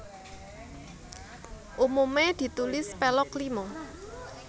Umume ditulis Pelog Lima